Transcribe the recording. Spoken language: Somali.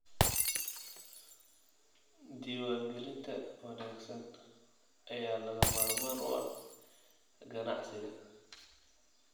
Diiwaangelinta wanaagsan ayaa lagama maarmaan u ah ganacsiga.